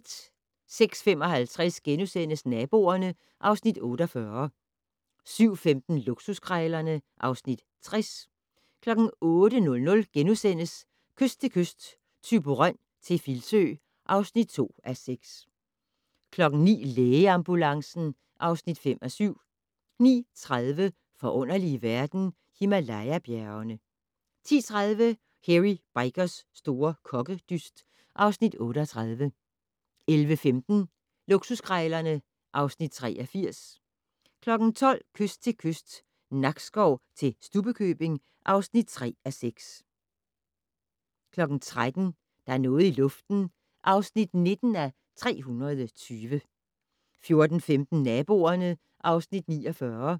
06:55: Naboerne (Afs. 48)* 07:15: Luksuskrejlerne (Afs. 60) 08:00: Kyst til kyst - Thyborøn til Filsø (2:6)* 09:00: Lægeambulancen (5:7) 09:30: Forunderlige verden - Himalaya-bjergene 10:30: Hairy Bikers' store kokkedyst (Afs. 38) 11:15: Luksuskrejlerne (Afs. 83) 12:00: Kyst til kyst - Nakskov til Stubbekøbing (3:6) 13:00: Der er noget i luften (19:320) 14:15: Naboerne (Afs. 49)